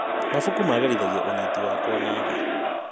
Mabuku magĩrithagia ũnyiti wakwa na thĩ.